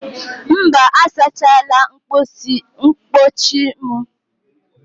Mba, asachala mkpọchi m.